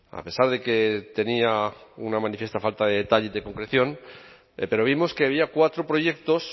a pesar de que tenía una manifiesta falta de detalle y de concreción pero vimos que había cuatro proyectos